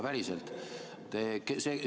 Päriselt!